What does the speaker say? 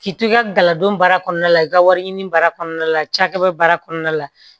K'i to i ka galadon baara kɔnɔna la i ka wari ɲini baara kɔnɔna la cakɛbara kɔnɔna la